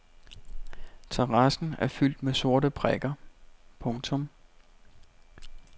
Terrassen er fyldt med sorte prikker. punktum